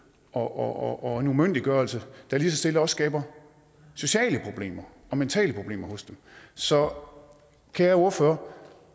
og en umyndiggørelse der lige så stille også skaber sociale problemer og mentale problemer hos dem så kære ordfører